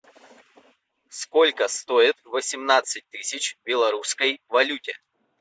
сколько стоит восемнадцать тысяч в белорусской валюте